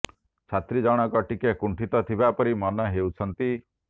ଛାତ୍ରୀ ଜଣକ ଟିକେ କୁଣ୍ଠିତ ଥିବା ପରି ମନେ ହେଉଛନ୍ତି